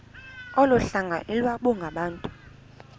olu hlanga iwalungabantu